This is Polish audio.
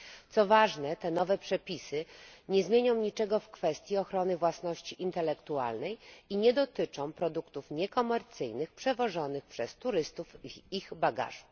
Co ważne, te nowe przepisy nie zmienią niczego w kwestii ochrony własności intelektualnej i nie dotyczą produktów niekomercyjnych, przewożonych przez turystów w ich bagażu.